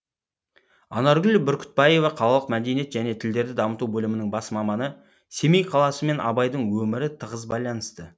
анаргүл бүркітбаева қалалық мәдениет және тілдерді дамыту бөлімінің бас маманы семей қаласы мен абайдың өмірі тығыз байланысты